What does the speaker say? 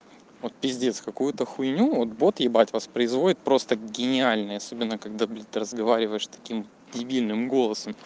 вот пиздец какую-то хуйню вот бот ебать воспроизводит просто гениальный особенно когда будет разговариваешь таким дебильным голосом